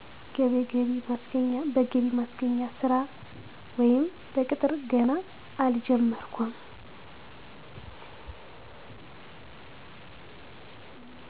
በገቢ ማስገኛ ስራ ወይም በቅጥር ገና አልጀመርኩም